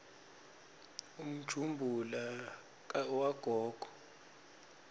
umjumbula wagogo